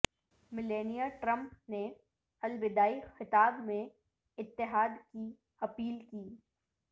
Melania Trump نے الوداعی خطاب میں اتحاد کی اپیل کی